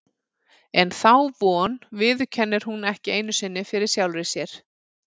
En þá von viðurkennir hún ekki einu sinni fyrir sjálfri sér.